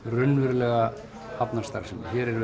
raunverulega hafnarstarfsemi hér er